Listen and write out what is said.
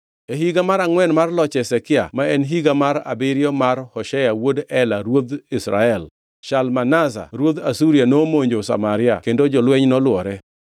E higa mar angʼwen mar loch Hezekia, ma en higa mar abiriyo mar Hoshea wuod Ela ruodh Israel, Shalmaneser ruodh Asuria nomonjo Samaria kendo jolweny nolwore.